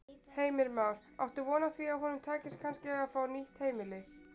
Heimir Már: Áttu von á því að honum takist kannski að fá nýtt heimili?